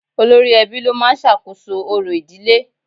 Olórí ẹbí ló máa ń sàkóso orò ìdílé